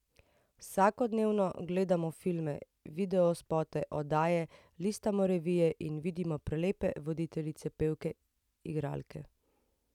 Vsakodnevno gledamo filme, video spote, oddaje, listamo revije in vidimo prelepe voditeljice, pevke igralke.